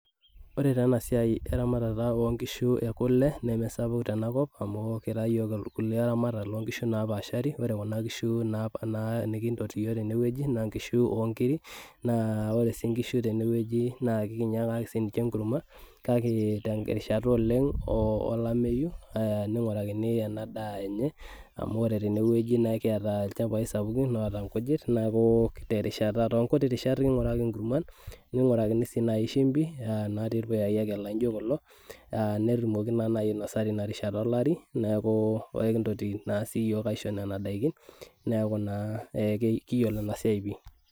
Ore enasiai eramatare onkishu ekule nemesapuk tenakop amu kira yiok irkulie aramatakb ontokitin napaashari, ore kuna kishu na nikintoki yiok tenewueji na nkishu onkirik na ore si nkishu tenewueji na kake terishata oleng olameyu ningorakini ena daa enye amu ore tenewueji na ekiata lchambai sapukin oota nkujit neaku terishat, tonkuti rishat kinguraki enkurma ningurakini nai akeshumbi natii irpuyai lijo kulo aa netumoki nai ainosa tinarishata olari neaku ekintoki taa siyiok aisho nona dakin neaku na kiyiolo enasiai pii.